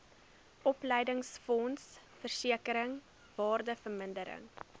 opleidingsfonds versekering waardevermindering